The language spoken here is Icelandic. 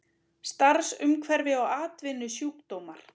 Starfsumhverfi og atvinnusjúkdómar.